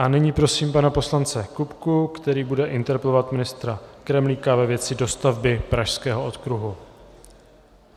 A nyní prosím pana poslance Kupku, který bude interpelovat ministra Kremlíka ve věci dostavby Pražského okruhu.